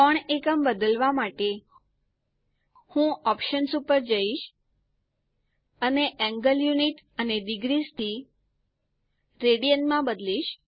કોણ એકમ બદલવા માટે હું ઓપ્શન્સ ઉપર જઈશ પછી એન્ગલ યુનિટ અને ડિગ્રીસ થી રેડિયન્સ માં બદલીશ